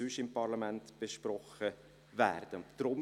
Deshalb tauchen Fragen auf.